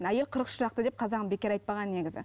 әйел қырық шырақты деп қазағым бекер айтпаған негізі